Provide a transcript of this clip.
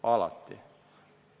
Alati!